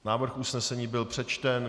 Návrh usnesení byl přečten.